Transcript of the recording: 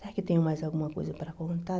Será que eu tenho mais alguma coisa para contar?